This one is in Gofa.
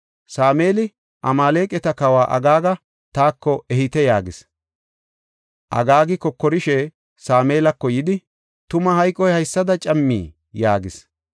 Sameeli, “Amaaleqata kawa Agaaga taako ehite” yaagis. Agaagi kokorishe Sameelako yidi, “Tuma hayqoy haysada cammii?” yaagis.